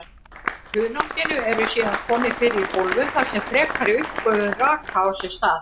Hunanginu eru síðan komið fyrir í hólfum þar sem frekari uppgufun raka á sér stað.